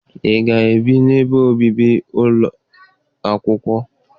Ị ga-ebi n'ebe obibi ụlọ akwụkwọ?